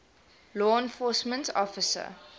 law enforcement officer